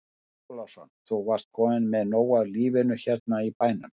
Andri Ólafsson: Þú varst kominn með nóg af lífinu hérna í bænum?